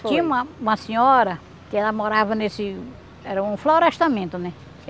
Tinha uma uma senhora que ela morava nesse... Era um florestamento, né?